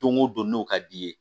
Don o don n'o ka d'i ye